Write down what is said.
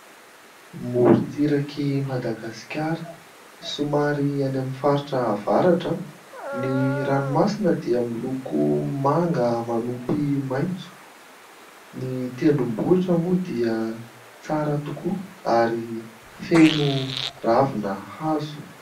Morotsirak'i Madagasikara, somary any amin'ny faritra avaratra. Ny ranomasina dia miloko manga manopy maitso. Ny tendrombohitra moa dia tsara tokoa ary feno ravina hazo.